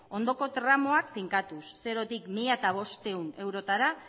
ondoko tramuak finkatuz zerotik mila bostehun eurotara